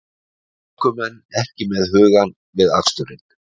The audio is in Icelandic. Ökumenn ekki með hugann við aksturinn